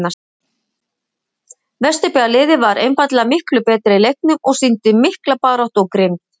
Vesturbæjarliðið var einfaldlega miklu betra í leiknum og sýndi mikla baráttu og grimmd.